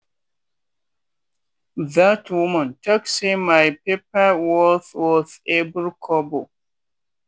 that woman talk say my pepper worth worth every kobo.